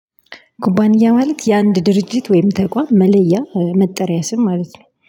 ኩባንያ ማለት የአንድ ድርጅት ወይም ተቋም መለያ መጠሪያ ስም ማለት ነው